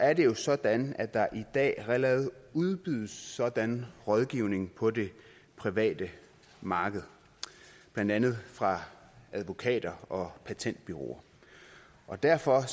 at det jo er sådan at der i dag allerede udbydes sådan rådgivning på det private marked blandt andet fra advokater og patentbureauer derfor